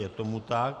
Je tomu tak.